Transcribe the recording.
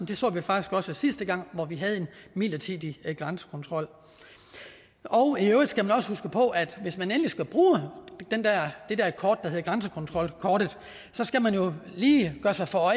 det så vi faktisk også sidste gang hvor vi havde en midlertidig grænsekontrol i øvrigt skal man også huske på at hvis man endelig skal bruge det der kort der hedder grænsekontrolkortet skal man jo lige holde sig for